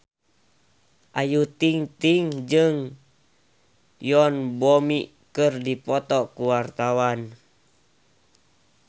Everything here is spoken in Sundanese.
Ayu Ting-ting jeung Yoon Bomi keur dipoto ku wartawan